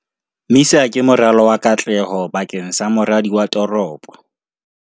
MISA ke moralo wa katleho bakeng sa moradi wa toropo